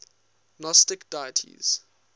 gnostic deities